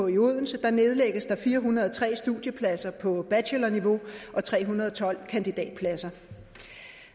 i odense nedlægges der fire hundrede og tre studiepladser på bachelorniveau og tre hundrede og tolv kandidatpladser